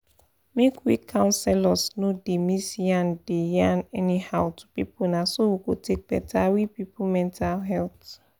make we counselors no da miss yan da yan anyhow to people na so we go take better we people mental health